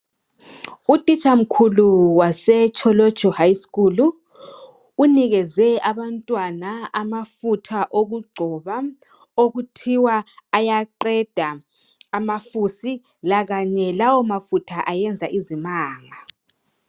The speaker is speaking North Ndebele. Utitsha mkhulu waseTsholotsho high school unikeze abantwana amafutha okugcoba okuthiwa ayaqeda amafusi lakanye lawo mafutha ayenza izimanga.